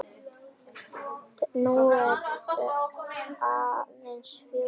Nú eru aðeins fjórir eftir.